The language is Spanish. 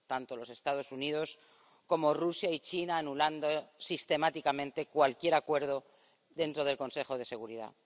Tanto los Estados Unidos como Rusia y China anulando sistemáticamente cualquier acuerdo dentro del Consejo de Seguridad.